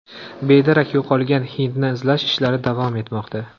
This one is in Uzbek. Bedarak yo‘qolgan hindni izlash ishlari davom etmoqda.